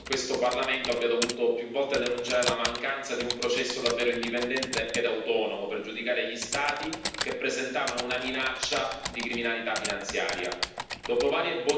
Troviamo però assurdo che questo Parlamento abbia dovuto più volte denunciare la mancanza di un processo davvero indipendente ed autonomo per giudicare gli Stati che presentavano una minaccia di criminalità finanziaria.